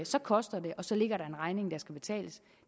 så koster det og så ligger der en regning der skal betales